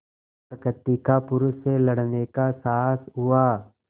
प्रकृति का पुरुष से लड़ने का साहस हुआ